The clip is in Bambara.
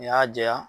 N'i y'a jɛya